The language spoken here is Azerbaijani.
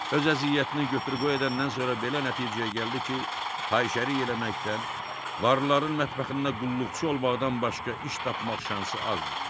Öz əziyyətini götür-qoy edəndən sonra belə nəticəyə gəldi ki, fahişəlik eləməkdən, varlıların mətbəxində qulluqçu olmaqdan başqa iş tapmaq şansı azdır.